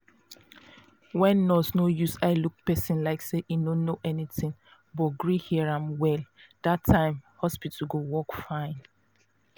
when nurse no use eye look person like say e no know anything but gree hear am well na that time hospital go work fine.